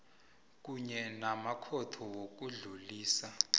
kunye namakhotho wokudlulisela